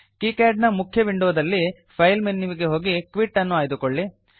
KiCad ನ ಮುಖ್ಯ ವಿಂಡೊದಲ್ಲಿ ಫೈಲ್ ಮೆನುವಿಗೆ ಹೋಗಿ ಕ್ವಿಟ್ ಅನ್ನು ಆಯ್ದುಕೊಳ್ಳಿ